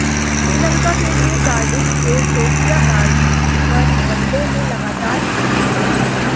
श्रीलंका के लिए कार्डिफ के सोफिया गार्ड्स पर वनडे में लगातार पांचवी हार है